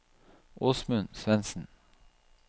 Åsmund Svensen